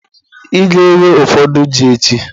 Ị ga-ewe ụfọdụ ji echi.